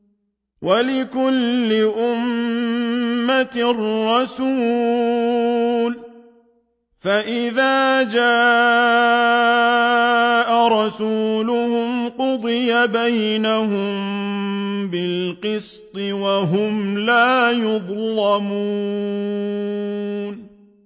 وَلِكُلِّ أُمَّةٍ رَّسُولٌ ۖ فَإِذَا جَاءَ رَسُولُهُمْ قُضِيَ بَيْنَهُم بِالْقِسْطِ وَهُمْ لَا يُظْلَمُونَ